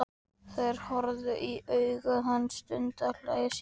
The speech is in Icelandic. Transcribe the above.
Þeir horfast í augu um stund og hlæja síðan.